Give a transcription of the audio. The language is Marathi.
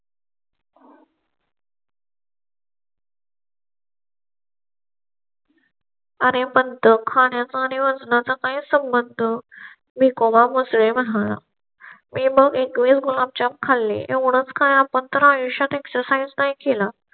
आणि पण खाण्या चा आणि वजना चा काही संबंध. मी कोमा एवढाच काय आपण तर आयुष्यात exercise नाही केला